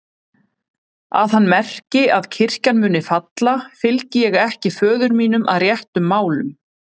Að hann merki að kirkjan muni falla, fylgi ég ekki föður mínum að réttum málum.